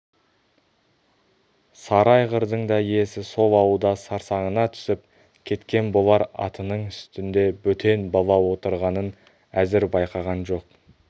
сары айғырдың да иесі сол сауда сарсаңына түсіп кеткен болар атының үстінде бөтен бала отырғанын әзір байқаған жоқ